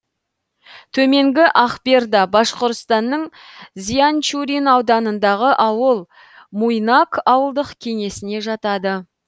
төменгі акберда башқұртстанның зианчурин ауданындағы ауыл муйнак ауылдық кеңесіне жатады